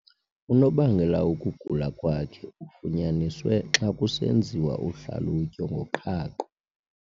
Unobangela wokugula kwakhe ufunyaniswe xa kusenziwa uhlalutyo ngoqhaqho.